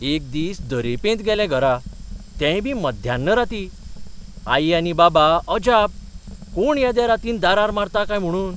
एक दीस देरेपेंत गेलें घरा. तेंयबी मध्यान रातीं. आई आनी बाबा अजाप कोण येद्या रातीन दारार मारता काय म्हुणून.